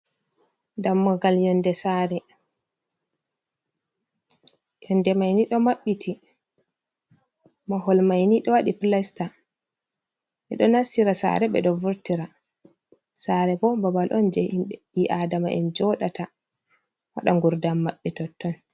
Dammugal yonde mayni ɗo maɓɓiti, mahol mayni ɗo waɗi plasta ɓeɗo nastira sare ɓe ɗo vurtira sare bo, babal on je himbe bii adama'en joɗata waɗa ngurdan maɓɓe haa totton.